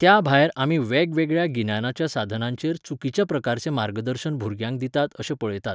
त्या भायर आमी वेगवेगळ्या गिन्यानाच्या साधनांचेर चुकीच्या प्रकारचें मार्गदर्शन भुरग्यांक दितात अशें पळयतात.